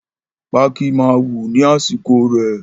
Pákí máa wù ní àsìkò rẹ̀